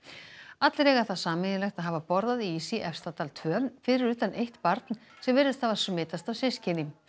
allir eiga það sameiginlegt að hafa borðað ís í Efstadal tveggja fyrir utan eitt barn sem virðist hafa smitast af systkini